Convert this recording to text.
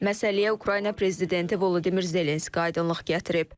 Məsələyə Ukrayna prezidenti Volodimir Zelenski aydınlıq gətirib.